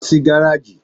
Lọ sí gáràjì!